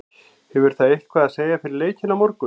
Hefur það eitthvað að segja fyrir leikinn á morgun?